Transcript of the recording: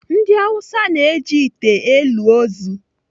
Ndị Awụsa na-eji ite elu ozu.